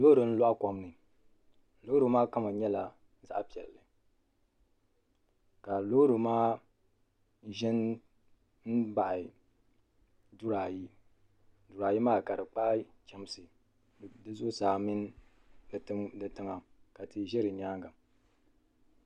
loori n loɣi kom ni loori maa kama nyɛla zaɣ piɛlli ka loori maa ʒɛ n baɣi duri ayi duri ayi maa ka di kpahi chɛmsi di zuɣusaa mini tiŋa ka tihi ʒɛ di nyaanga